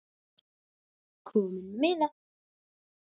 Kominn með miða?